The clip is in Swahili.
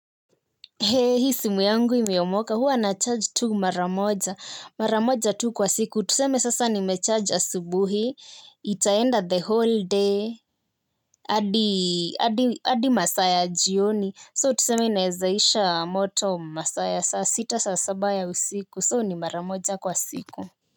Je, hii simu yangu imeomoka. Huwa na charge tu maramoja. Maramoja tu kwa siku. Tuseme sasa nime charge asubuhi. Itaenda the whole day, adi adi masaa ya jioni. So tuseme inaezaisha moto masaa ya. Saa sita saa saba ya usiku. So ni maramoja kwa siku.